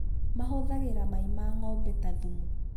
mahũthagira Mai ma ng'ombe ta thumu